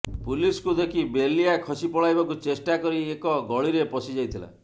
ପୁଲିସକୁ ଦେଖି ବେଲିଆ ଖସି ପଳାଇବାକୁ ଚେଷ୍ଟା କରି ଏକ ଗଳିରେ ପଶି ଯାଇଥିଲା